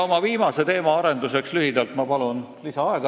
Oma viimase teema lühikeseks arenduseks palun ma lisaaega.